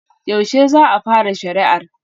Yaushe za a fara shari'ar?